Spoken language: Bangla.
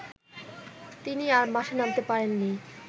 তিনি আর মাঠে নামতে পারেননি